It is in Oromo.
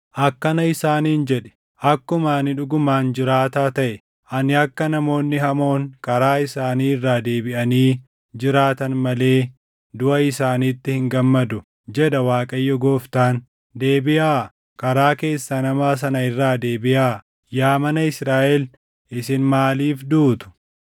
Akkana isaaniin jedhi; ‘Akkuma ani dhugumaan jiraataa taʼe, ani akka namoonni hamoon karaa isaanii irraa deebiʼanii jiraatan malee duʼa isaaniitti hin gammadu, jedha Waaqayyo Gooftaan. Deebiʼaa! Karaa keessan hamaa sana irraa deebiʼaa! Yaa mana Israaʼel isin maaliif duutu?’